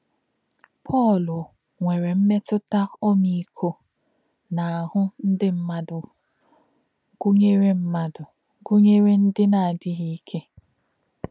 Pọ̄l nwèrè̄ mètụ̀tà̄ ọ́mì̄íkò̄ n’áhụ̄ ndí̄ mmádụ̄, gụ́nyèrè̄ mmádụ̄, gụ́nyèrè̄ ndí̄ nā̄-ádí̄ghí̄ íkè̄.